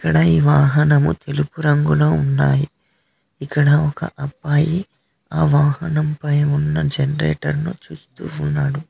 ఇక్కడ ఈ వాహనం తెలుపు రంగులో ఉన్నయి ఇక్కడ ఒక అబ్బాయి ఆవాహనంపై ఉన్న జనరేటర్ ను చూస్తూ ఉన్నాడు.